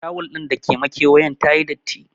Tawul din da ke makewayen tayi datti.